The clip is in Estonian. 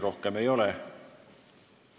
Rohkem küsimusi ei ole.